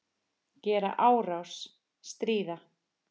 Gera árás- stríða